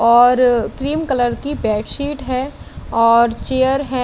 और cream colour की bedsheet हैं और चेयर है।